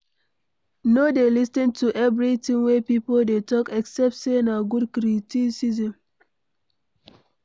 No dey lis ten to everything wey pipo dey talk except sey na good criticism